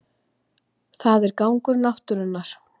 Það er gangur náttúrunnar